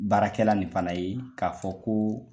Baarakɛla nin fana ye k'a fɔ ko